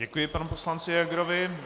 Děkuji panu poslanci Hegerovi.